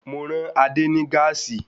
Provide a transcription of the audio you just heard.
Mo rán Adé ní gáàsì